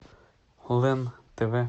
лен тв